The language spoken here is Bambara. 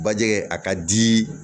Bajɛgɛ a ka di